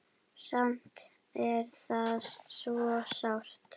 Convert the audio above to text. Samt er þetta svo sárt.